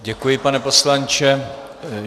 Děkuji, pane poslanče.